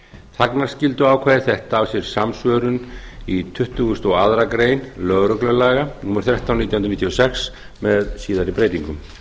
þagnarskylduákvæði þetta á sér samsvörun í tuttugasta og annarrar greinar lögreglulaga númer þrettán nítján hundruð níutíu og sex með síðari breytingum